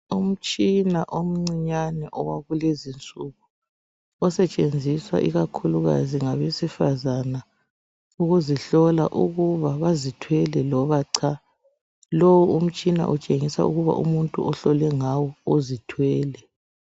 Umtshina omcinyane owakulezinsuku osetshenziswa ikakhulukazi ngabesifazana ukuzihlola ukuba bazithwele loba cha. Lowu umtshina utshengisa ukuba umuntu ohlole ngawo uzithwele.